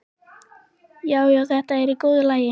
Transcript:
Já, já, þetta er í góðu lagi.